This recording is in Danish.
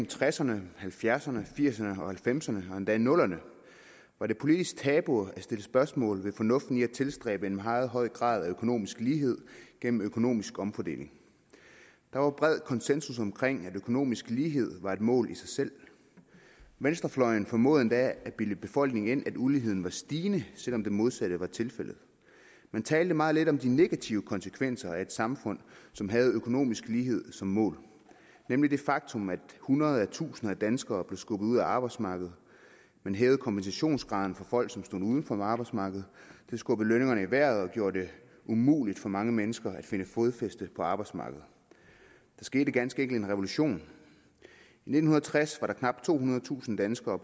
tresserne halvfjerdserne firserne og halvfemserne og endda nullerne var det politisk tabu at stille spørgsmål ved fornuften i at tilstræbe en meget høj grad af økonomisk lighed gennem økonomisk omfordeling der var bred konsensus omkring at økonomisk lighed var et mål i sig selv venstrefløjen formåede endda at bilde befolkningen ind at uligheden var stigende selv om det modsatte var tilfældet man talte meget lidt om de negative konsekvenser af et samfund som havde økonomisk lighed som mål nemlig det faktum at hundredetusinder af danskere blev skubbet ud af arbejdsmarkedet man hævede kompensationsgraden for folk som stod uden for arbejdsmarkedet det skubbede lønningerne i vejret og gjorde det umuligt for mange mennesker at finde fodfæste på arbejdsmarkedet der skete ganske enkelt en revolution i nitten tres var der knap tohundredetusind danskere